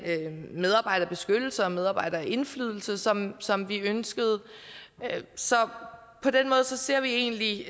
medarbejderbeskyttelse og medarbejderindflydelse som som vi ønskede så på den måde ser vi egentlig